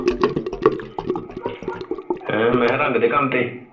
ਮੈਂ ਰੰਗ ਦੇ ਕੱਮ ਤੇ